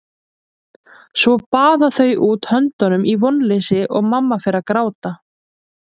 Svo baða þau út höndunum í vonleysi og mamma fer að gráta.